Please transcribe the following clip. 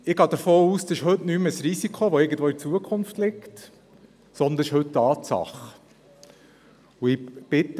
Ich gehe davon aus, dass es heute nicht mehr ein Risiko ist, das irgendwo in der Zukunft festgemacht werden kann, sondern dass es heute eine Tatsache ist.